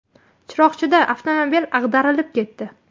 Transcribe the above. Chiroqchida avtomobil ag‘darilib ketdi.